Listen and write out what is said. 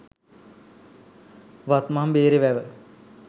වත්මන් බේරේ වැව